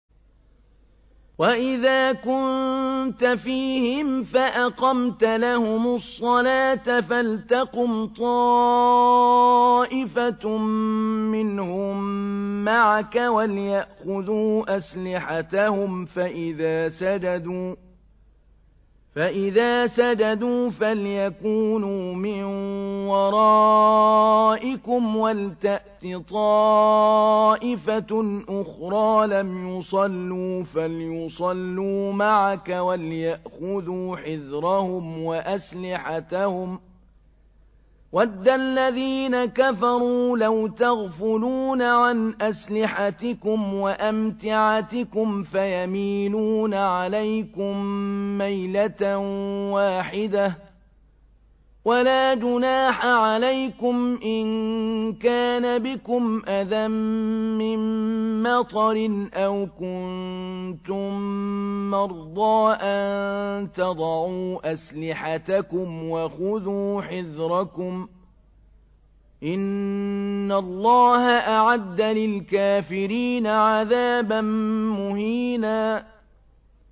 وَإِذَا كُنتَ فِيهِمْ فَأَقَمْتَ لَهُمُ الصَّلَاةَ فَلْتَقُمْ طَائِفَةٌ مِّنْهُم مَّعَكَ وَلْيَأْخُذُوا أَسْلِحَتَهُمْ فَإِذَا سَجَدُوا فَلْيَكُونُوا مِن وَرَائِكُمْ وَلْتَأْتِ طَائِفَةٌ أُخْرَىٰ لَمْ يُصَلُّوا فَلْيُصَلُّوا مَعَكَ وَلْيَأْخُذُوا حِذْرَهُمْ وَأَسْلِحَتَهُمْ ۗ وَدَّ الَّذِينَ كَفَرُوا لَوْ تَغْفُلُونَ عَنْ أَسْلِحَتِكُمْ وَأَمْتِعَتِكُمْ فَيَمِيلُونَ عَلَيْكُم مَّيْلَةً وَاحِدَةً ۚ وَلَا جُنَاحَ عَلَيْكُمْ إِن كَانَ بِكُمْ أَذًى مِّن مَّطَرٍ أَوْ كُنتُم مَّرْضَىٰ أَن تَضَعُوا أَسْلِحَتَكُمْ ۖ وَخُذُوا حِذْرَكُمْ ۗ إِنَّ اللَّهَ أَعَدَّ لِلْكَافِرِينَ عَذَابًا مُّهِينًا